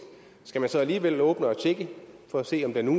skal man så alligevel åbne og tjekke for at se om det nu